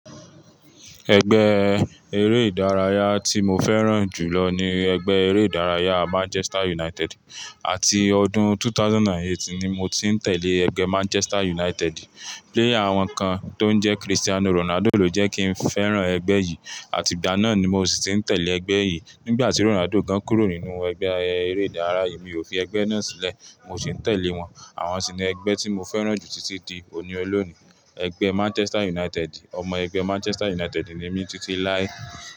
Ẹgbẹ́ eré ìdárayá tí mo fẹ́ràn jù lọ ni ẹgbẹ́ eré ìdárayá Manchester United. Àti ọdún 2008 ni mo ti ń tẹ̀lé ẹgbẹ́ Manchester United. Player won kan tó ń jẹ́ Cristiano Ronaldo ló jẹ́ kí n fẹ́ràn ẹgbẹ́ yìí. Àti ìgbà náà ni mo sì ti ń tẹ̀lé ẹgbẹ́ yìí. Nígbà tí Ronaldo gan kúrò nínú ẹgbẹ́ eré ìdárayá yìí, mi ò fi ẹgbẹ́ náà sílẹ̀, mo sì ń tẹ̀lé wọn. Àwọn sì ni ẹgbẹ́ tí mo fẹ́ràn jù títí di òní olónìí, ẹgbẹ́ Manchester United. Ọmọ ẹgbẹ́ Manchester United ni mí títí lái.